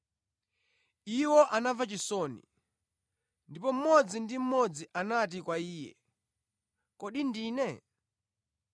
Iwo anamva chisoni, ndipo mmodzi ndi mmodzi anati kwa Iye, “Kodi ndine?”